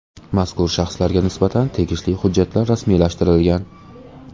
Mazkur shaxslarga nisbatan tegishli hujjatlar rasmiylashtirilgan.